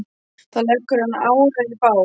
Þá leggur hann árar í bát.